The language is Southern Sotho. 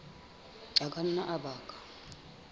a ka nna a baka